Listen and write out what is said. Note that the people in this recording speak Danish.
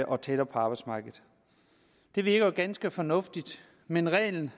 og tættere på arbejdsmarkedet det virker jo ganske fornuftigt men reglen